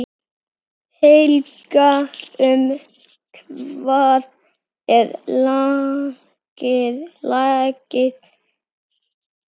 Helga, um hvað er lagið?